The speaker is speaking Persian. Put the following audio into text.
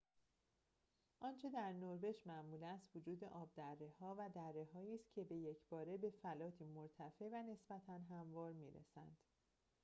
آنچه در نروژ معمول است وجود آبدره‌ها و درّه‌هایی است که به یک‌باره به فلاتی مرتفع و نسبتاً هموار می‌رسند